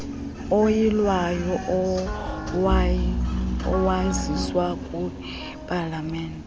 oyilwayo owaziswa kwipalamente